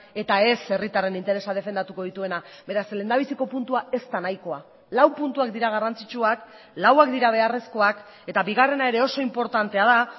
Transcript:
eta ez herritarren interesa defendatuko dituena beraz lehendabiziko puntua ez da nahikoa lau puntuak dira garrantzitsuak lauak dira beharrezkoak eta bigarrena ere oso inportantea da